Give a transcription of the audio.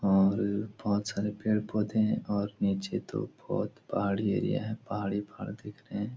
और बहुत सारे पेड़-पौधे हैं‌ और नीचे तो बहोत पहाड़ी एरिया है पहाड़ ही पहाड़ दिख रहे हैं।